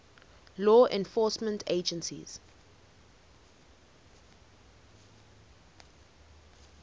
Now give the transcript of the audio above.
law enforcement agencies